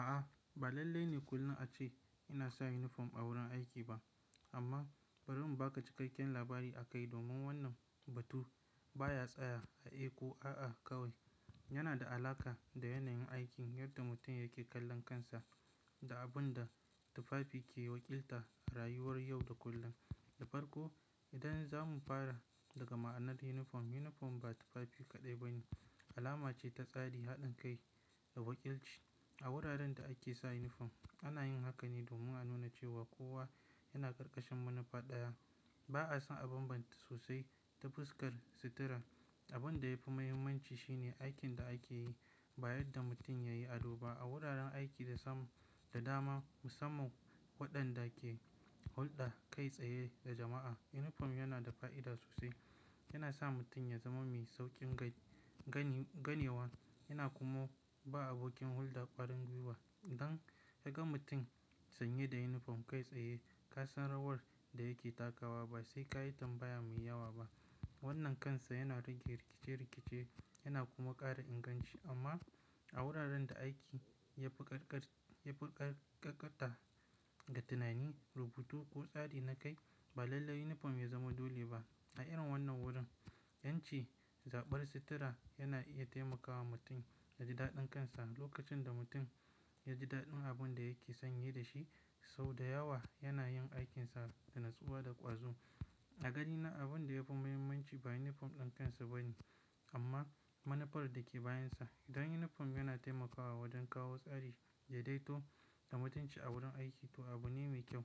A'a, ba lalle ne kullum a ce ina sa yunifom a wurin aiki ba. Amma bari mu baka cikakken labari a kai domin wannan batu baya tsaya a eh ko a'a kawai. Yana da alaƙa da yanayin aikin, yadda mutum yake kallon kansa da abun da tufafi ke wakilta a rayuwar yau da kullum. Da farko, idan za mu fara daga ma'anar yunifom, yunifom ba tufafi kaɗai ba ne, alama ce ta tsari, haɗin kai da wakilci. A wuraren da ake sa yunifom ana yin haka ne domun a nuna cewa kowa yana karkashin manufa ɗaya. Ba a san a banbanta sosai ta fuskar sutura. Abin da yafi muhimmanci shine aikin da ake yi ba yadda mutum yayi ado ba. A wuraren aiki da sam da dama musamman waɗanda ke hulɗa kai tsaye da jama'a, yunifom yana da fa'ida sosai. Yana sa mutum ya zama mai sauƙin ganewa yana kuma ba abokin hulɗa ƙwarin gwiwa. Idan ka ga mutum sanye da yunifom kai tsaye ka san rawar da yake takawa ba sai ka yi tambaya mai yawa ba. Wannan kansa yana rage rikice-rikice yana kuma ƙara inganci. Amma a wuraren da aiki ya fi karkat ya fi ƙarƙakata da tunani, rubutu ko tsari na kai ba lalle yunifom ya zama dole ba. A irin wannan wurin, 'yanci, zaɓar sutura yana iya taimakawa mutum ya ji daɗin kansa. Lokacin da mutum ya ji daɗin abin da yake sanye da shi, sau da yawa yana yin aikinsa da natsuwa da ƙwazo. A ganiba abun da yafi muhimmanci ba yunifom ɗin kansa ba ne amma manufar da ke bayansa. Idan yunifom yana taimakawa wajen kawo tsari daidaito ga mutunci a wurin aiki to abu ne mai kyau.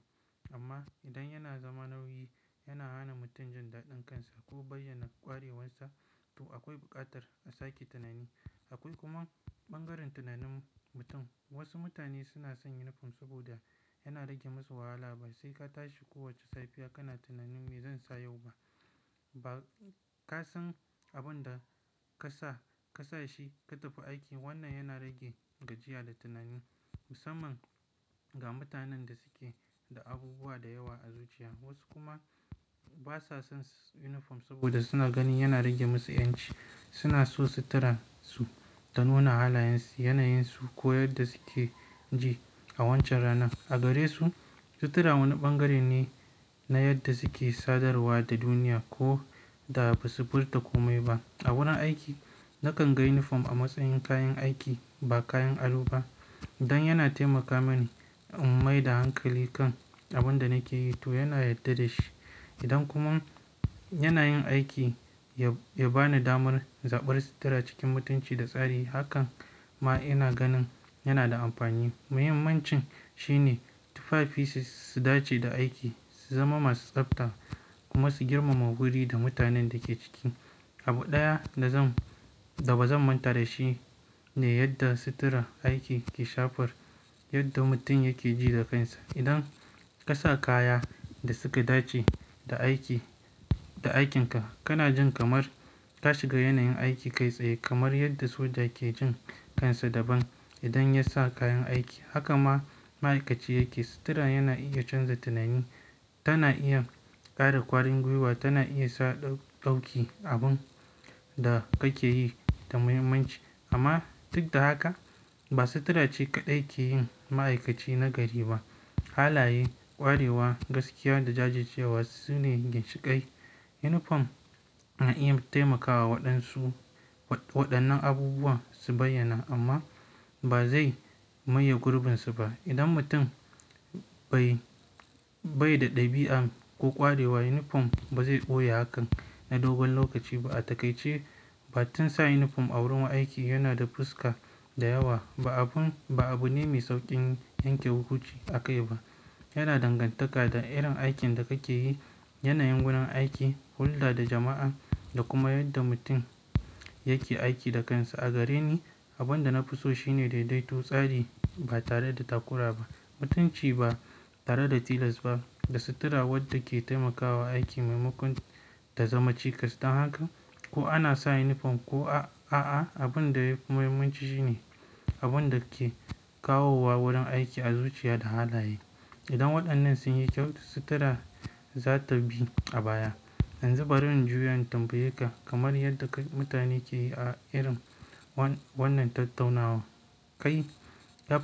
Amma idan yana zama nauyi, yana hana mutum jin daɗin kansa ko bayyana ƙwarewarsa to akwai buƙatar a sake tunani. Akwai kuma ɓangaren tunanin mutum. Wasu mutane suna son yunifom saboda yana rage musu wahala. Ba sai ka tashi kowace safiya kana tunanin "Me zan sa yau ba?" ba ka san abun da ka sa ka sa shi ka tafi aiki. Wannan yana rage gajiya da tunani musamman ga mutanen da suke da abubuwa da yawa a zuciya. Wasu kuma ba sa son yunifom saboda suna ganin yana rage musu 'yanci. Suna so suturan su ta nuna halayensu, yanayensu ko yadda suke ji a wancan ranar. A gare su sutura wani ɓangare ne na yadda suke sadarwa da duniya ko da ba su furta kome ba. A wurin aiki nakan ga yunifom a matsayin kayan aiki ba kayan ado ba. Dan yana taimakawa mani in maida hankali kan abin da nake yi to yana yadda da shi. Idan kuma yana yin aiki ya bani damar zaɓar sutura cikin mutunci da tsari hakan ma ina ganin yana da amfani. Muhimmancin shine tufafises su dace da aiki, su zama masu tsafta kuma su girmama wuri da mutanen da ke ciki. Abu ɗaya da zan da ba zan manta da shi ne yadda sutura aiki ke shafar yadda mutum yake ji da kansa. Idan ka sa kaya da suka dace da aiki da aikinka kana jin kamar ka shiga yanayin aiki kai tsaye kamar yadda soja ke jin kansa daban idan ya sa kayan aiki. Haka ma ma'aikaci yake. Sutura yana iya canza tunani, tana iya ƙara ƙwarin gwiwa tana iya sa ɗauki abin da kake yi da muhimmanci. Amma duk da haka ba sutura ce kaɗai ke yin ma'aikaci na gari ba. Halaye, ƙwarewa, gaskiya da jajircewa sune ginshiƙai. Yunifom na iya taimakawa wadansu waɗannan abubuwa su bayyana amma ba zai maye gurbinsa ba. Idan mutum bai bai da ɗabi'a ko ƙwarewa yunifom ba zai ɓoye hakan na dogon lokaci ba. Da takaice ba tun sa yunifom a wurin aiki yana da fuska da yawa ba abun ba abu ne mai sauƙin yanke hukunci a kai ba. Yana dangantaka da irin aikin da kake yi, yanayin wurin aiki, hulɗa da jama'a da kuma yadda mutum yake aiki da kansa. A gare ni abin da na fi so shi ne daidaito, tsari ba tare da takura ba, mutunci ba tare da tilas ba, da sutura wadda ke taimakawa aiki maimakon ta zama cikas. Dan haka ko ana sa yunifom ko a a'a abin da yafi muhimmanci shi ne abin da ke kawo wa wurin aiki arzukica da halaye. Idan waɗannan sun yi kyau sutura za ta bi a baya. Yanzu bari in juya in tambayeka nkamar yadda ka-- mutane ke yi a irin wan wannan tattaunawa. Kai dab.